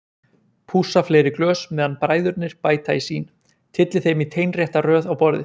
Pússa fleiri glös meðan bræðurnir bæta í sín, tylli þeim í teinrétta röð á borðið.